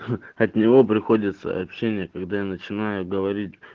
от него приходят сообщения когда я начинаю говорить